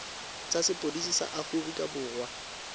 tsa sepodisi sa aforika borwa